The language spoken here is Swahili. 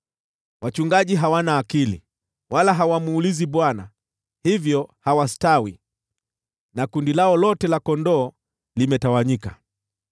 Wachungaji hawana akili wala hawamuulizi Bwana , hivyo hawastawi na kundi lao lote la kondoo limetawanyika.